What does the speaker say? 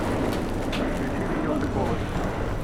включи видео приколы